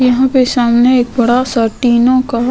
यहां पे सामने एक बड़ा सा टीनों का --